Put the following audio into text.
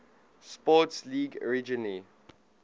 sports league originally